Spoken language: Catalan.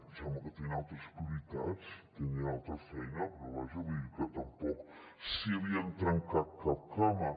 sembla que tenien altres prioritats tenien altra feina però vaja vull dir que tampoc s’hi havien trencat cap cama